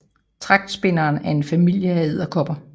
Tragtspinderen er en familie af edderkopper